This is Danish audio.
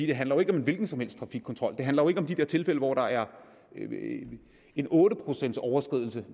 det handler jo ikke om en hvilken som helst fik kontrol det handler ikke om de her tilfælde hvor der er en otte procentsoverskridelse